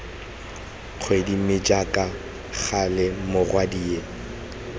kgwedi mme jaaka gale morwadie